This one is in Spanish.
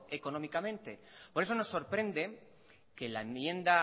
económicamente por eso nos sorprende que la enmienda